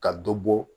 Ka dɔ bɔ